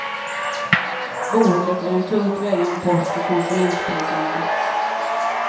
Boendet är en tungt vägande post i konsumentprisindex.